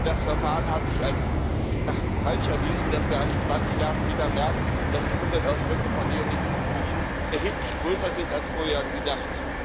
Das Verfahren hat sich als falsch erwiesen, dass wir eigentlich 20 Jahre später merken, dass die Umweltauswirkungen von Neonikotinoiden erheblich größer sind als vorher gedacht.